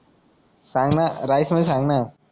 सांगना राईस मध्य सांगना